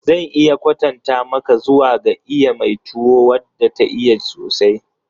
Zan iya kwatanta maka zuwa ga iya mai tuwo wadda ta iya sosai.